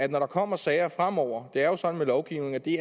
der kommer sager fremover det er jo sådan med lovgivning at det